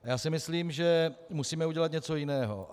Já si myslím, že musíme udělat něco jiného.